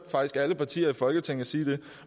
alle partier i folketinget sige